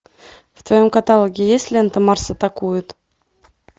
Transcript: в твоем каталоге есть лента марс атакует